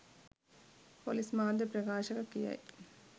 police මාධ්‍ය ප්‍රකාශක කියයි